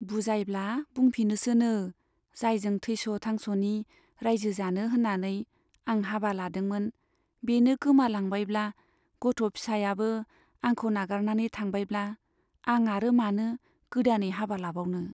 बुजायब्ला बुंफिनोसोनो, जायजों थैस' थांस'नि राइजो जानो होन्नानै आं हाबा लादोंमोन, बेनो गोमालांबायब्ला , गथ' फिसायाबो आंखौ नागारनानै थांबायब्ला आं आरो मानो गोदानै हाबा लाबावनो ?